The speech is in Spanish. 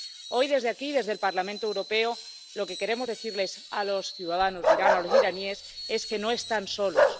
Hoy, desde aquí, desde el Parlamento Europeo, lo que queremos decirles a los ciudadanos de Irán, a los iraníes, es que no están solos.